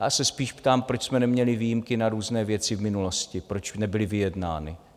Já se spíš ptám, proč jsme neměli výjimky na různé věci v minulosti, proč nebyly vyjednány.